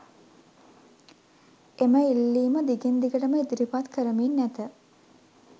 එම ඉල්ලීම දිගින් දිගටම ඉදිරිපත් කරමින් ඇත